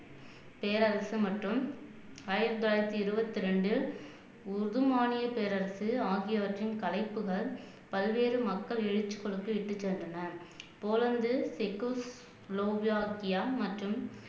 பேரரசு மற்றும் ஆயிரத்தி தொள்ளாயிரத்தி இருவத்தி ரெண்டு உது மானிய பேரரசு ஆகியவற்றின் களைப்புகள் பல்வேறு மக்கள் எழுச்சிக் குழுக்கு இட்டுச் சென்றனர் போலந்து தெக்கூஸ் லோவியாகியா மற்றும்